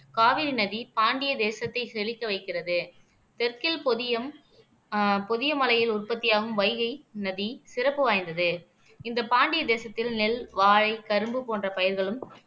காவிரி நதி பாண்டிய தேசத்தை செழிக்க வைக்கிறது தெற்கில் பொதியும் ஆஹ் பொதிகை மலையில் உற்பத்தியாகும் வைகை நதி சிறப்பு வாய்ந்தது இந்த பாண்டிய தேசத்தில் நெல் வாழை கரும்பு போன்ற பயிர்களும்